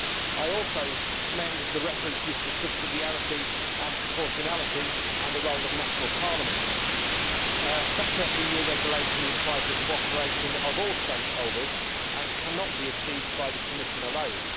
I also commend the references to subsidiarity and proportionality and the role of national parliaments. Better EU regulation requires the cooperation of all stakeholders and cannot be achieved by the Commission alone.